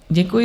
Děkuji.